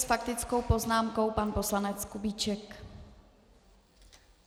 S faktickou poznámkou pan poslanec Kubíček.